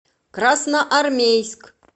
красноармейск